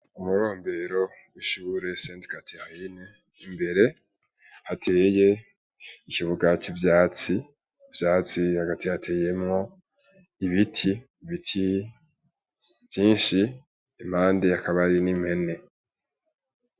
Umurombero rw’ishure sente gatihayini imbere hateye ikibuga c'ivyatsi, ivyatsi hagati hateyemwo ibiti, ibiti vyinshi impande hakaba hari n'impene.